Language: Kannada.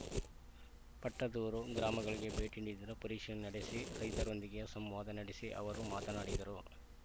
ಪಟ್ಟದೂರು ಗ್ರಾಮಗಳಿಗೆ ಭೇಟಿ ನೀಡಿ ಪರಿಶೀಲನೆ ನಡೆಸಿ ರೈತರೊಂದಿಗೆ ಸಂವಾದ ನಡೆಸಿ ಅವರು ಮಾತನಾಡಿದರು